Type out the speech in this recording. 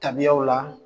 Tabiyaw la